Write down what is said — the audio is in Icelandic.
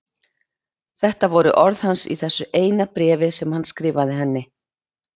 Þetta voru orð hans í þessu eina bréfi sem hann skrifaði henni.